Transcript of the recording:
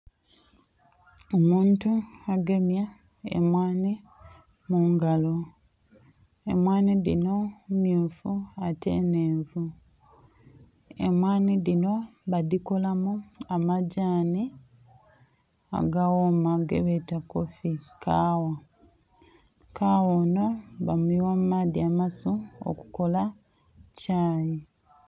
omuntu agemye emwaanhi mu ngalo. Emwaanhi dhinho mmyufu ate nnhenvu. emwaanhi dhinho badhikolamu amagyanhi, agaghoma gebeeta kofi, kaagha. Kagha onho bamuyigha mu maadhi amasu okukola kyayi.